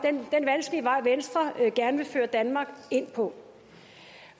venstre gerne vil føre danmark ind på